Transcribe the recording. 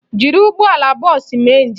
Jiri ụgbọala bọọsụ mee njem!